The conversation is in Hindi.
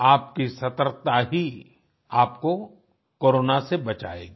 आपकी सतर्कता ही आपको कोरोना से बचाएगी